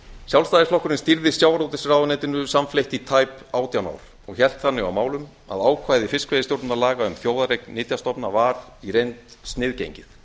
sjálfstæðisflokkurinn stýrði sjávarútvegsráðuneytinu samfleytt í tæp átján ár og hélt þannig á málum að ákvæði fiskveiðistjórnarlaga um þjóðareign nytjastofna var í reynd sniðgengið